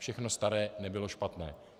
Všechno staré nebylo špatné.